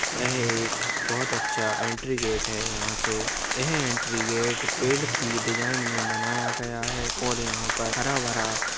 यह एक बहुत अच्छा एंट्री गेट है। यहाँ से-- यह एंट्री गेट पेड़ की डिज़ाइन में बनाया गया है और यहाँ पर हराभरा--